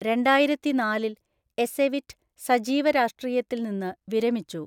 രണ്ടായിരത്തിനാലില്‍ Ecevit സജീവ രാഷ്ട്രീയത്തിൽ നിന്ന് വിരമിച്ചു.